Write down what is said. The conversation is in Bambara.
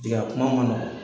I ka kuma ma nɔgɔn.